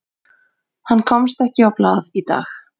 Hann komst ekki á blað í dag.